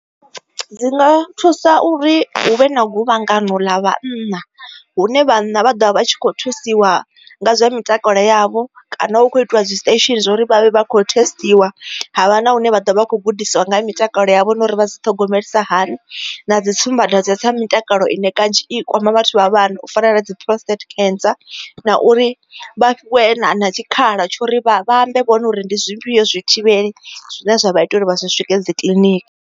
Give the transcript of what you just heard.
Dzi nga thusa uri hu vhe na guvhangano ḽa vhanna hune vhanna vha ḓovha vha tshi kho thusiwa nga zwa mitakalo yavho kana hu kho itiwa dzi station zwa uri vhavhe vha kho thesitiwa havha na hune vha ḓo vha kho gudisiwa nga mitakalo yavho nori vha thogomelisiwa hani na dzi tsumbadwadze dza mutakalo ine kanzhi i kwama vhathu vha vha fanela dzi prostate cancer. Na uri vha fhiwe na tshikhala tsho ri vha ambe vhone uri ndi zwifhiyo zwithivheli zwine zwa vha ite uri vha swike dzi kiḽiniki.